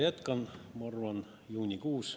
Jätkan, ma arvan, juunikuus.